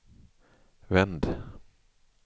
vänd